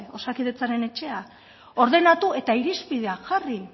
osakidetzaren etxea ordenatu eta irizpideak jarri